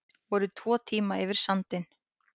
Voru tvo tíma yfir sandinn